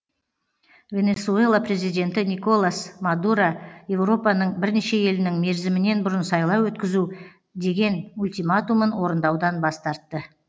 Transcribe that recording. венесуэла президенті николас мадуро еуропаның бірнеше елінің мерзімінен бұрын сайлау өткізу деген ультиматумын орындаудан бас тартты